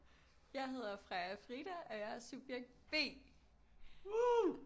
Jeg hedder Freja-Frida og jeg er subjekt B